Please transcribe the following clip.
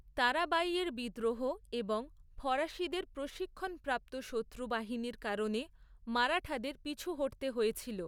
তারাবাঈয়ের বিদ্রোহ এবং ফরাসিদের প্রশিক্ষণপ্রাপ্ত শত্রু বাহিনীর কারণে মারাঠাদের পিছু হটতে হয়েছিল।